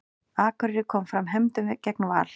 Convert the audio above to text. Akureyri kom fram hefndum gegn Val